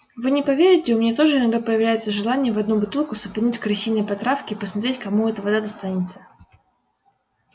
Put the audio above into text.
вы не поверите у меня тоже иногда появляется желание в одну бутылку сыпануть крысиной потравки и посмотреть кому эта вода достанется